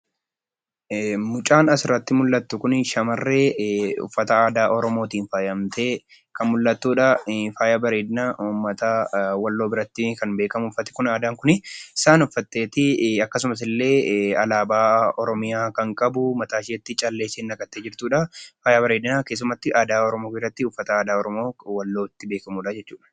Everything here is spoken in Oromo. Mucaan as irratti argamtu Kun shamarree Oromoo uffata aadaan faayyamtee jirtuu dha. Faayyaa bareedinaa Oromoo Walloo biratti kan beekamuu dha. Isheenis isa uffattee miidhagdee kan jirtuu dha.